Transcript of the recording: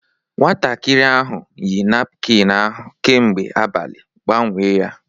Nwatakịrị ahụ yi napkịn ahụ kemgbe abalị, gbanwee ya!